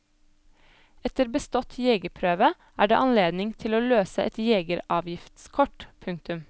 Etter bestått jegerprøve er det anledning til å løse et jegeravgiftskort. punktum